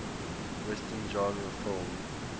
western genre film